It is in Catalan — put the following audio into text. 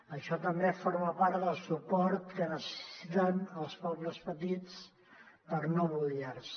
això també forma part del suport que necessiten els pobles petits per no buidar se